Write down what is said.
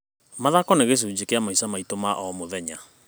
Mathako nĩ gĩcunjĩ kĩa maica maitũ ma o mũthenya.